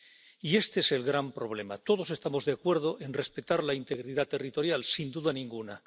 Y este es el gran problema todos estamos de acuerdo en respetar la integridad territorial, sin duda ninguna.